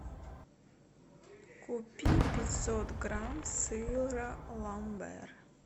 купи пятьсот грамм сыра ламбер